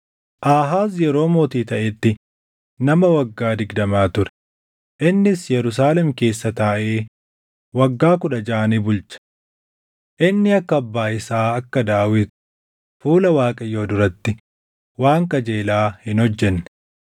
Aahaaz yeroo mootii taʼetti nama waggaa digdama ture; innis Yerusaalem keessa taaʼee waggaa kudha jaʼa ni bulche. Inni akka abbaa isaa akka Daawit fuula Waaqayyoo duratti waan qajeelaa hin hojjenne.